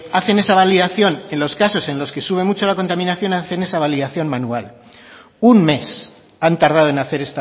hacen esa validación en los casos en los que sube mucho la contaminación hacen esa validación manual un mes han tardado en hacer